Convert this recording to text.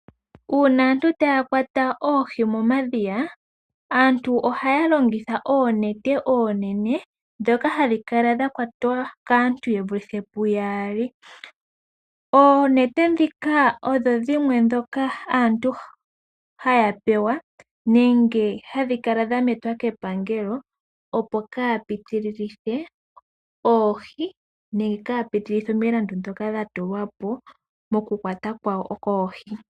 Uuna aantu taya kwata oohi momadhiya ohaya longitha oonete oonene ndhoka hadhi kala dhakwatwa kaantu ye vulithe puyaali. Oonete dhika odho dhimwe aantu haya pewa nenge hadhi kala metwa kepangelo, opo kaya pitililithe omwaalu nenge omulandu ngoka gwatulwapo gwokukwata oohi.